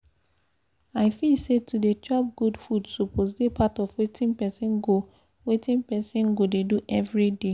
i feel say to dey chop good food suppose dey part of wetin people go wetin people go dey do every day